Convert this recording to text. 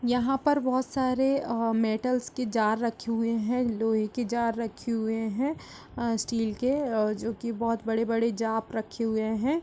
यहाँ पर बहुत सारे अ मेटल्स के जार रखे हुए हैं लोहे के जार रखे हुए हैं अ स्टील के जो कि बहुत बड़े बड़े जाप रखे हुए हैं।